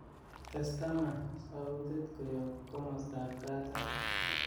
tes ak taman sautit koyob komostab katam